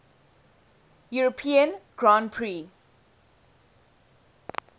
european grand prix